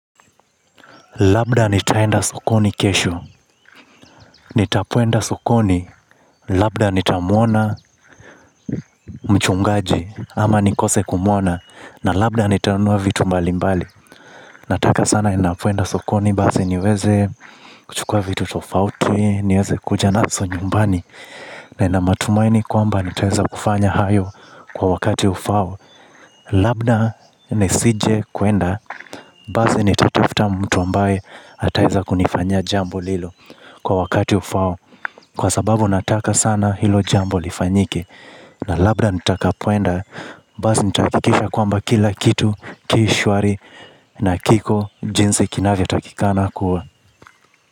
Labda nitaenda sokoni kesho, nitapoenda sokoni, labda nitamuona mchungaji ama nikose kumuona, na labda nitanunua vitu mbali mbali. Nataka sana ninapoenda sokoni, basi niweze kuchukua vitu tofauti, niweze kuja naso nyumbani, na ninamatumaini kwamba nitaeza kufanya hayo kwa wakati ufau. Labda ni sije kuenda. Basi ni tatafta mtu ambaye ataeza kunifanyia jambo lilo kwa wakati ufahao kwa sababu nataka sana hilo jambo lifanyike. Na labda nitaka poenda. Basi nitakikisha kwamba kila kitu kishwari. Na kiko jinsi kinavyotakikana kuwa.